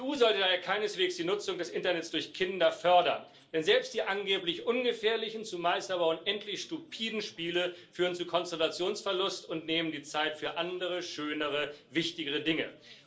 Die EU sollte daher keineswegs die Nutzung des Internets durch Kinder fördern, denn selbst die angeblich ungefährlichen, zumeist aber unendlich stupiden Spiele führen zu Konzentrationsverlust und nehmen die Zeit für andere schönere, wichtigere Dinge.